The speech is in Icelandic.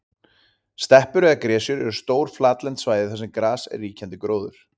Steppur eða gresjur eru stór flatlend svæði þar sem gras er ríkjandi gróður.